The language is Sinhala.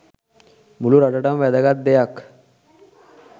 මුළු රටටම වැදගත් දෙයක්.